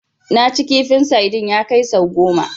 Naci kifin sadin ya kai sau goma